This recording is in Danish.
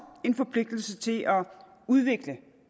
en forpligtelse til at udvikle